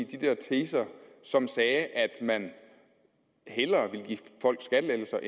de der teser som sagde at man hellere ville give folk skattelettelser